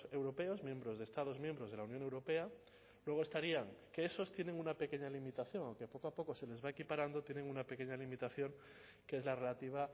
europeos miembros de estados miembros de la unión europea luego estarían que esos tienen una pequeña limitación aunque poco a poco se les va equiparando tienen una pequeña limitación que es la relativa